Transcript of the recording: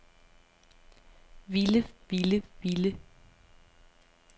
ville ville ville